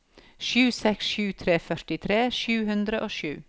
seks tre sju to førtitre sju hundre og sju